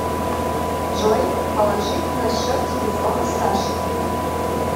джой положить на счет телефона саше